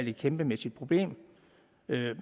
et kæmpemæssigt problem